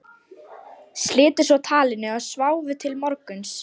Slitu svo talinu og sváfu til morguns.